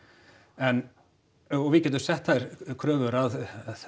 en og við getum sett þær kröfur að